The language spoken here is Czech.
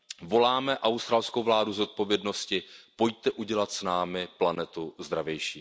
Voláme australskou vládu k zodpovědnosti, pojďte udělat s námi planetu zdravější.